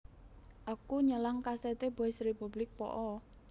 Aku nyelang kaset e Boys Republic po o?